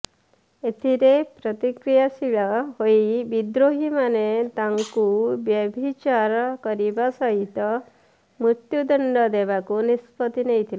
ଏଥିରେ ପ୍ରତିକ୍ରିୟାଶୀଳ ହୋଇ ବିଦ୍ରୋହୀମାନେ ତାଙ୍କୁ ବ୍ୟଭିଚାର କରିବା ସହିତ ମୃତ୍ୟୁ ଦଣ୍ଡ ଦେବାକୁ ନିଷ୍ପତ୍ତି ନେଇଥିଲେ